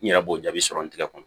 N yɛrɛ b'o jaabi sɔrɔ n tigɛ kɔnɔ